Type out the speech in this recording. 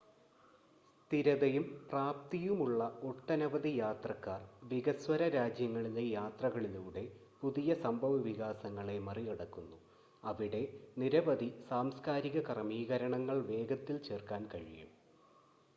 സ്ഥിരതയും പ്രാപ്തിയുമുള്ള ഒട്ടനവധി യാത്രക്കാർ വികസ്വര രാജ്യങ്ങളിലെ യാത്രകളിലൂടെ പുതിയ സംഭവവികാസങ്ങളെ മറികടക്കുന്നു അവിടെ നിരവധി സാംസ്ക്കാരിക ക്രമീകരണങ്ങൾ വേഗത്തിൽ ചേർക്കാൻ കഴിയും